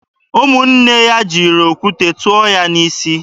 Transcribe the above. Ụmụnne ya jiri okwute tụọ ya n'isi.